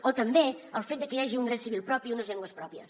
o també pel fet que hi hagi un dret civil propi i unes llengües pròpies